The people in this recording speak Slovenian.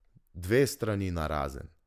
Dve strani narazen.